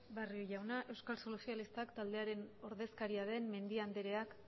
barrio jauna euskal sozialistak taldearen ordezkaria den mendia andreak